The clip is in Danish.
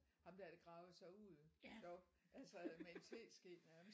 Ham der der gravede sig ud deroppe altså med en teske nærmest